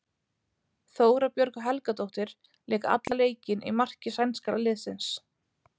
Þóra Björg Helgadóttir lék allan leikinn í marki sænska liðsins.